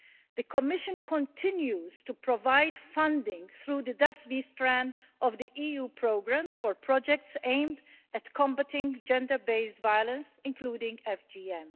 The Commission continues to provide funding through the DAPHNE strand of the EU programmes for projects aimed at combating gender based violence, including FGM.